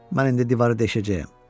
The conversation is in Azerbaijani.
Mən indi divarı deşəcəyəm.